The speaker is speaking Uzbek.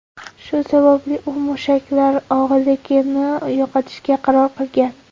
Shu sababli, u mushaklar og‘irligini yo‘qotishga qaror qilgan.